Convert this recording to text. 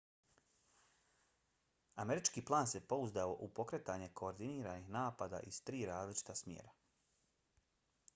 američki plan se pouzdao u pokretanje koordiniranih napada iz tri različita smjera